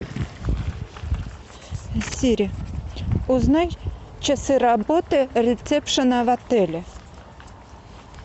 сири узнай часы работы ресепшена в отеле